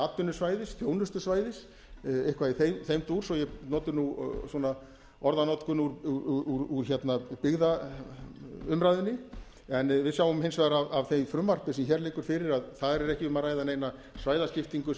atvinnusvæðis þjónustusvæðis eitthvað í þeim dúr svo ég noti orðanotkun úr byggðaumræðunni við sjáum hins vegar af því frumvarpi sem hér liggur fyrir að þar er ekki um að ræða neina svæðaskiptingu